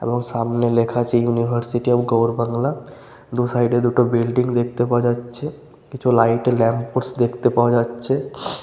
এবং সামনে লেখা আছে ইউনিভার্সিটি অফ গৌড় বাংলা। দু সাইডে দুটো বিল্ডিং দেখতে পাওয়া যাচ্ছে। কিছু লাইট -এ ল্যাম্প পোস্ট দেখতে পাওয়া যাচ্ছে।